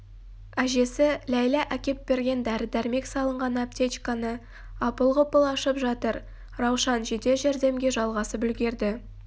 әжесі ләйлә әкеп берген дәрі-дәрмек салынған аптечканы апыл-ғұпыл ашып жатыр раушан жедел жәрдемге жалғасып үлгерді